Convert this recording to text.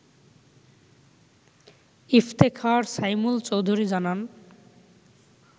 ইফতেখার সাইমুল চৌধুরী জানান